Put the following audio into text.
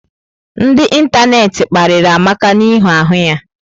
Ndị ịntanetị mkpariri Amaka n'ihi ahụ ya.